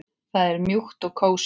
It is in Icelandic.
Það er mjúkt og kósí.